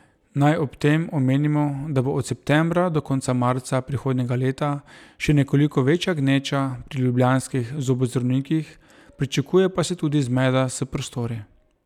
Naj ob tem omenimo, da bo od septembra do konca marca prihodnjega leta še nekoliko večja gneča pri ljubljanskih zobozdravnikih, pričakuje pa se tudi zmeda s prostori.